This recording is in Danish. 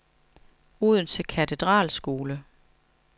Odense Katedralskole